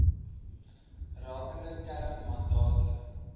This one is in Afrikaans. rakende kern mandate